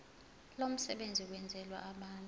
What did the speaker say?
lomsebenzi wenzelwe abantu